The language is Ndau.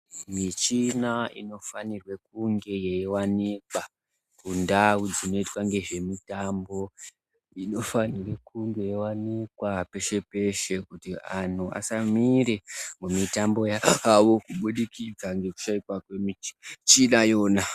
Michina inofanirwa kunge yeiwanikwa kunzvimbo dzinoitwe zvemitambo, inofanire kunge yeiwanikwa peshe-peshe kuti antu asamire mumitambo yavo kubudikidza ngekushaikwa kwemichina iyona.